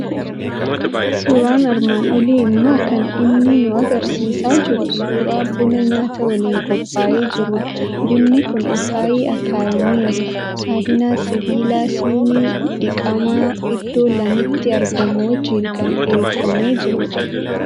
Suuraan armaan olii immoo kan inni nu argisiisaa jiru suuraa buna nyaata waliin qophaa'ee jirudha. Bunni kun akaayii akaayameeru, saahinaa sibiilaa , shinii dhiqamaa iddoo lamatti argamu wajjin kan dhiheeffamee jirudha.